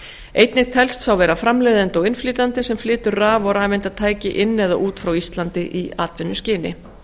einnig telst sá vera framleiðandi og innflytjandi sem flytur raf og rafeindatæki inn eða út frá íslandi í atvinnuskyni